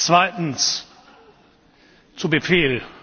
Zweitens Zu Befehl!